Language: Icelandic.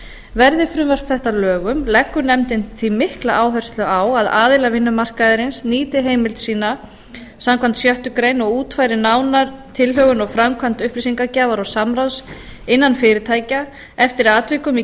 verði frumvarp þetta að lögum leggur nefndin því mikla áherslu á að aðilar vinnumarkaðarins nýti heimild sína samkvæmt sjöttu greinar og útfæri nánar tilhögun og framkvæmd upplýsingagjafar og samráðs innan fyrirtækja eftir atvikum í